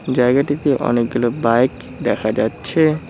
জায়গাটিতে অনেকগুলো বাইক দেখা যাচ্ছে।